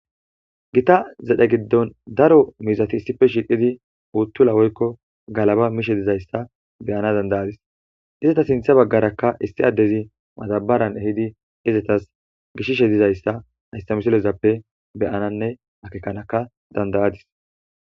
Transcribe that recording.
Gita zedhe giddon daro mizati issife shiiqidi uuttula woykko galaba mishe dizayssa beyana danda7adis. Izata sintha baggarakka issi addezi madabbaran ehidi izatas gishishe dizayssa hayssa misilezappe be7ananne akekanaka danda7adis